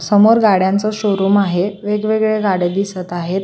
समोर गाड्यांच शोरूम आहे वेगवेगळ्या गाड्या दिसत आहेत.